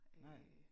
Nej